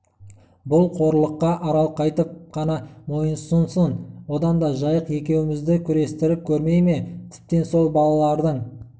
бұл қорлыққа арал қайтіп қана мойынсұнсын одан да жайық екеуімізді күрестіріп көрмей ме тіптен сол балалардың